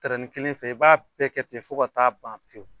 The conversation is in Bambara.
Tɛrɛnin kelen fɛ, i b'a bɛɛ kɛ ten fo ka taa ban pewu.